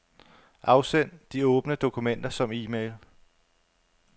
Afsend de åbne dokumenter som e-mail.